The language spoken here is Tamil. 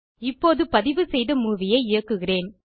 இப்போது பதிவுசெய்த மூவி ஐ இயக்குகிறேன்